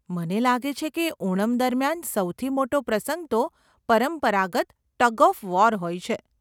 મને લાગે છે કે ઓણમ દરમિયાન સૌથી મોટો પ્રસંગ તો પરંપરાગત ટગ ઓફ વોર હોય છે.